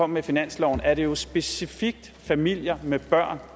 med finansloven er det jo specifikt familier med børn